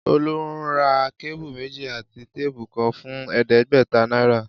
Olú ra kébù méjì àti téèpù kan fún è̩é̩dé̩gbè̩ta náírà